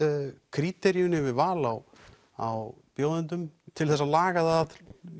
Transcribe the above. kríderíunni yfir val á á bjóðendum til þess að laga það að